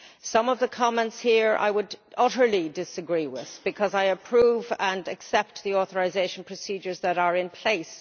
Some of the comments here I would utterly disagree with, because I approve and accept the authorisation procedures that are in place.